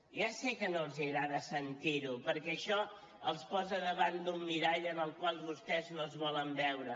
ja sé que no els agrada sentir ho perquè això els posa davant d’un mirall en el qual vostès no es volen veure